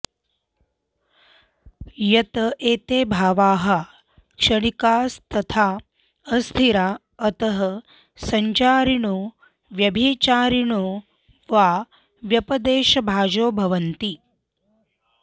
यत् एते भावाः क्षणिकास्तथा अस्थिरा अतः सञ्चारिणो व्यभिचारिणो वा व्यपदेशभाजो भवन्ति